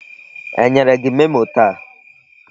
E nyere gị memo taa?